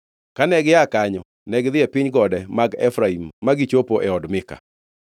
Kane gia kanyo negidhi e piny gode mag Efraim ma gichopo e od Mika.